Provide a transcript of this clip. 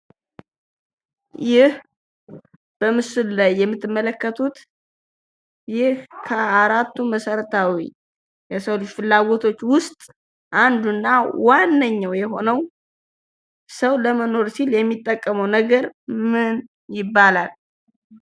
ይህ በምስሉ ላይ የምትመለከቱት ይህ ከአራቱ መሰረታዊ የሰው ልጅ ፍላጎቶች ውስጥ አንዱ እና ዋነኛው የሆነው ሰው ለመኖር ሲል የሚጠቀመው ነገር ምን ይባላል?